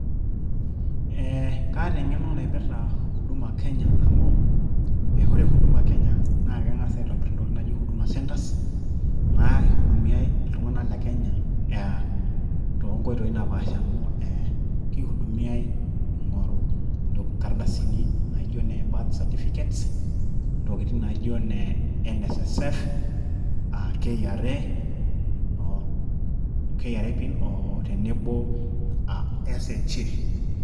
Eeeh Kaata eng`eno naipirta huduma Kenya amu, ore huduma Kenya naa keng`as aitobirr ntokitin naijo huduma centres . Naa ihudumiai iltung`anak le Kenya aa too nkoitoi napaasha amu kihudumiai ing`oru nkardasini naijo ine birth certificate . Ntokitin naijo ine N.S.S.F , K.R.A, o K.R.A pin tenebo o S.H.A.